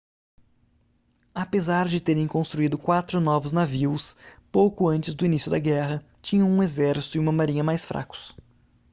apesar de terem construído quatro novos navios pouco antes do início da guerra tinham um exército e uma marinha mais fracos